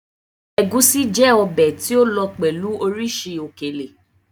Egúsí jẹ́ ọbẹ̀ tí ó lọ pẹ̀lú oríṣìí òkèlè.